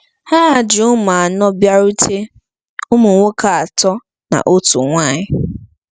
Ha ji ụmụ anọ bịarutere—ụmụ nwoke atọ na otu nwanyị.